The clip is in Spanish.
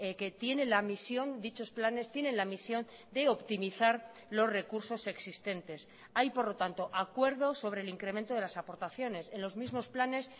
que tiene la misión dichos planes tienen la misión de optimizar los recursos existentes hay por lo tanto acuerdo sobre el incremento de las aportaciones en los mismos planes